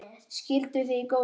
Skilduð þið í góðu?